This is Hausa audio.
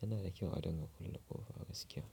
Yana da kyau a ɗinga kulle ƙofa a gaskiya.